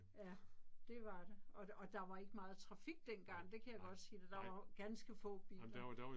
Ja, det var det. Og og der var ikke meget trafik dengang det kan jeg godt sige dig der var jo ganske få biler